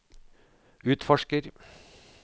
utforsker